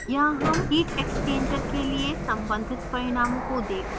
यहाँ हम heat exchanger के लिए सम्बंधित परिणामों को देख सकते हैं